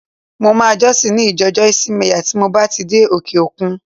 Mo máa jọ́sìn ní ìjọ Joyce Meyer tí mo bá ti dé òkè-òkun